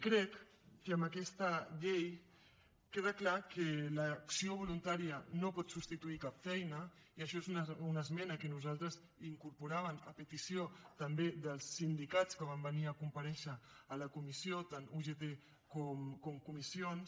crec que amb aquesta llei queda clar que l’acció voluntària no pot substituir cap feina i això és una esmena que nosaltres incorporàvem a petició també dels sindicats que van venir a comparèixer a la comissió tant ugt com comissions